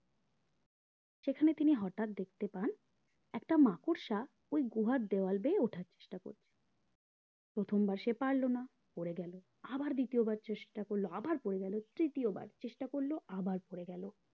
সেখানে তিনি হটাৎ দেখতে পান একটা মাকড়সা ওই গুহার দেওয়াল দিয়ে থার চেষ্টা করছে প্রথমবার সে পারলো না পরে গেলো আবার দ্বিতীয়বার চেষ্টা করলো আবার পরে গেলো তৃতীয়বার চেষ্টা করলো আবার পরে গেলো